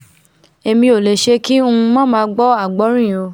èmi ò lè ṣe kí ng má máa gbọ́ àgbọ́rìn o